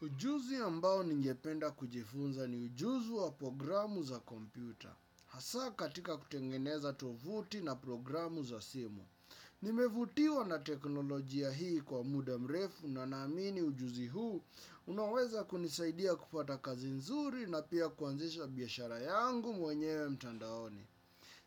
Ujuzi ambao ningependa kujifunza ni ujuzi wa programu za kompyuta. Hasa katika kutengeneza tovuti na programu za simu. Nimevutiwa na teknolojia hii kwa muda mrefu na naamini ujuzi huu. Unaweza kunisaidia kupata kazi nzuri na pia kuanzisha biashara yangu mwenyewe mtandaoni.